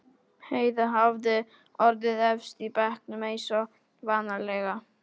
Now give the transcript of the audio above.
Heiða hafði orðið efst í bekknum eins og vanalega.